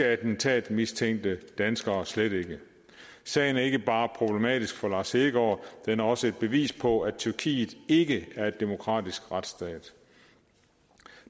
attentatmistænkte dansker slet ikke sagen er ikke bare problematisk for lars hedegaard den er også et bevis på at tyrkiet ikke er en demokratisk retsstat